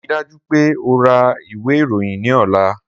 Rii daju pe o ra iwe iroyin ni ọla!